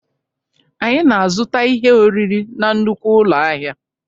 Anyị na-azụta ihe oriri na nnukwu ụlọ ahịa